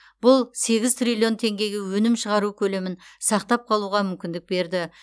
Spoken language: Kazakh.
бұл сегіз триллион теңгеге өнім шығару көлемін сақтап қалуға мүмкіндік берді